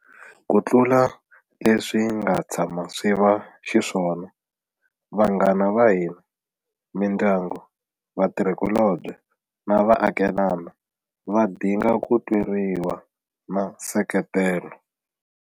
Kutlula leswi swi nga tshama swi va xiswona, va-nghana va hina, mindyangu, vatirhikulobye na vaakelana va dinga ku tweriwa na nseketelo.